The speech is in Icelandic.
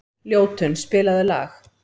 Ljótunn, spilaðu lag.